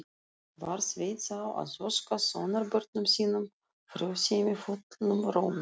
Var Sveinn þá að óska sonarbörnum sínum frjósemi fullum rómi.